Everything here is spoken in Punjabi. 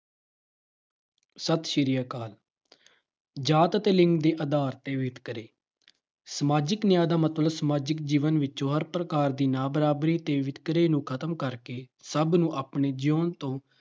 ਸਤਿ ਸ੍ਰੀ ਅਕਾਲ। ਜਾਤ ਅਤੇ ਲਿੰਗ ਦੇ ਆਧਾਰ ਤੇ ਵਿਤਕਰੇ। ਸਮਾਜਿਕ ਨਿਆਂ ਦਾ ਮਤਲਬ ਸਮਾਜਿਕ ਜੀਵਨ ਵਿੱਚੋਂ ਹਰ ਪ੍ਰਕਾਰ ਦੀਆਂ ਬਰਾਬਰੀ ਤੇ ਵਿਤਕਰੇ ਨੂੰ ਖਤਮ ਕਰਕੇ ਸਭ ਨੂੰ ਆਪਣੇ ਜਿਊਣ ਤੋਂ